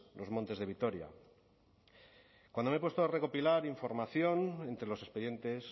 los montes de vitoria cuando me he puesto a recopilar información entre los expedientes